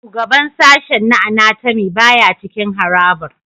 Shugaban sashen na Anatomy baya cikin harabar